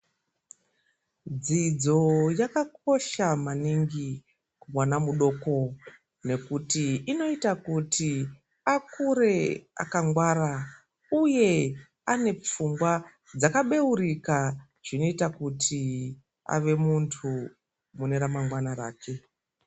Dzidzo yakakosha maningi kumwana mudoko. Nekuti inota kuti akure akangwara, uye anepfungwa dzakabeurika zvinoita kuti ave muntu mune ramangwana rake.